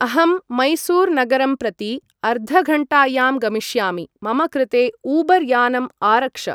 अहंं मैसूर् नगरं प्रति अर्धघण्टायां गमिष्यामि, मम कृते ऊबर् यानम् आरक्ष